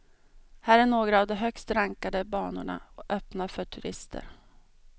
Här är några av de högst rankade banorna, öppna för turister.